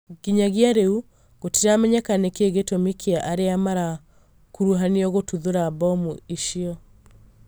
nginyagia rĩu gũtiramenyeka nĩkĩĩ gĩtũmi kĩa aria marakũrũhanirio gũtuthũra mbomũ icio